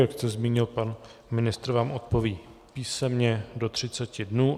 Jak jsem zmínil, pan ministr vám odpoví písemně do 30 dnů.